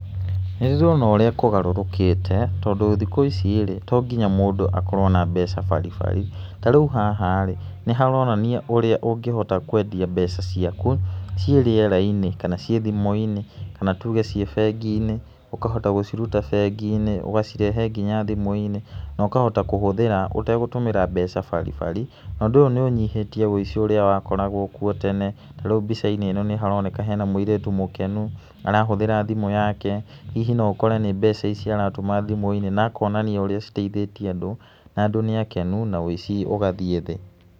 Nĩ ndĩrona ũrĩa kũgarũrũkĩte, tondũ thikũ ici-rĩ to nginya mũndũ akorwo na mbeca baribari. Ta rĩu haha rĩ, nĩ haronania ũrĩa ũngĩhota kwendia mbeca ciaku cĩe rĩera-inĩ kana cĩe thimũ-inĩ, kana tuge cĩe bengi-inĩ ũkahota gũciruta bengi-inĩ ũgacirehe nginya thimũ-inĩ na ũkahota kũhũthĩra ũtagũtũmĩra mbeca baribari na ũndũ ũyũ nĩ ũnyihĩtie wĩici ũrĩa wakoragwo kũo tene tarĩu mbica-inĩ ĩno nĩ haroneka hena mũirĩtu mũkenu arahũthĩra thimũ yake hihi no ũkore nĩ mbeca ici aratũma thimũ-inĩ, na akonania ũrĩa citeithĩtie andũ na andũ nĩ akenu na wĩici ũgathĩe thĩ.